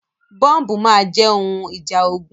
Bọ́ǹbù máa jẹ́ ohun ìjà ogun.